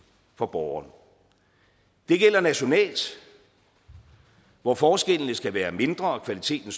for borgeren det gælder nationalt hvor forskellene skal være mindre og kvaliteten